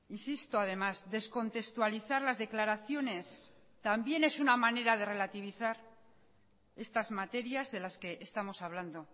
insisto además descontextualizar las declaraciones también es una manera de relativizar estas materias de las que estamos hablando